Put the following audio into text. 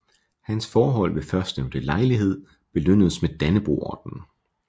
Hans forhold ved førstnævnte lejlighed belønnedes med Dannebrogordenen